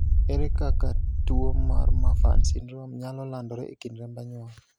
ere kaka tuo mar Marfan syndrome nyalo landore e kind remb anyuola?